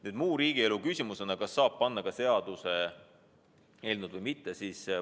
Nüüd, kas muu riigielu küsimusena saab panna ka seaduseelnõu või mitte?